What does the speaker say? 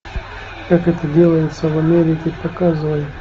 как это делается в америке показывай